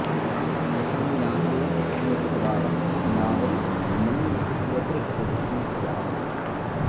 यथान्यासे हि न त्वा नावं मन्य इत्यत्र चतुर्थी स्यात्